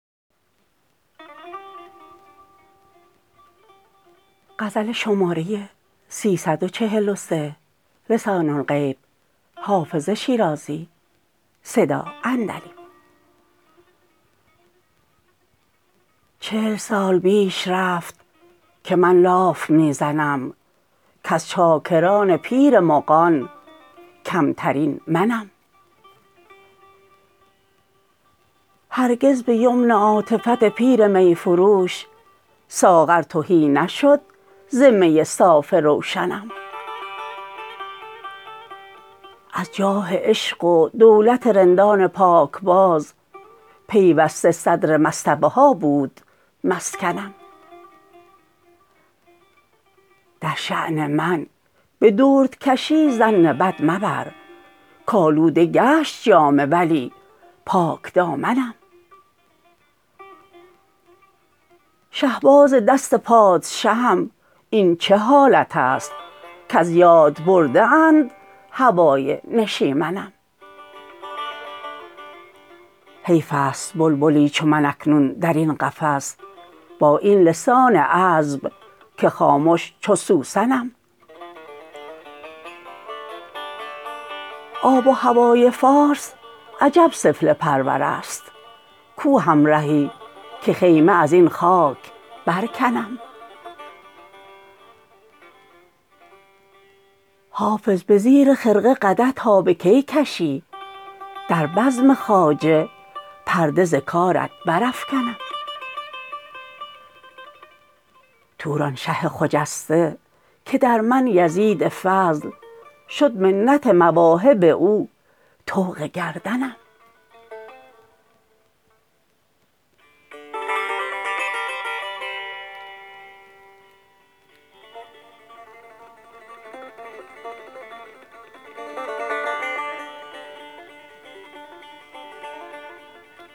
چل سال بیش رفت که من لاف می زنم کز چاکران پیر مغان کمترین منم هرگز به یمن عاطفت پیر می فروش ساغر تهی نشد ز می صاف روشنم از جاه عشق و دولت رندان پاکباز پیوسته صدر مصطبه ها بود مسکنم در شان من به دردکشی ظن بد مبر کآلوده گشت جامه ولی پاکدامنم شهباز دست پادشهم این چه حالت است کز یاد برده اند هوای نشیمنم حیف است بلبلی چو من اکنون در این قفس با این لسان عذب که خامش چو سوسنم آب و هوای فارس عجب سفله پرور است کو همرهی که خیمه از این خاک برکنم حافظ به زیر خرقه قدح تا به کی کشی در بزم خواجه پرده ز کارت برافکنم تورانشه خجسته که در من یزید فضل شد منت مواهب او طوق گردنم